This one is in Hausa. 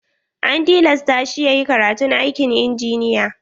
An tilasta shi yayi karatun aikin injiniya.